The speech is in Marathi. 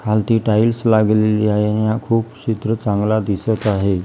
खालती टाइल्स लागलेली आहे आणि हा खूप चित्र चांगला दिसतं आहे.